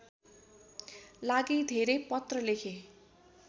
लागि धेरै पत्र लेखे